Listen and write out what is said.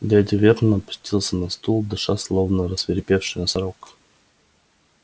дядя вернон опустился на стул дыша словно рассвирепевший носорог